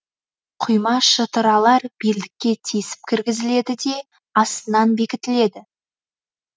құйма шытыралар белдікке тесіп кіргізіледі де астынан бекітіледі